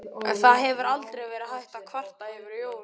En það hefur aldrei verið hægt að kvarta yfir Jóni.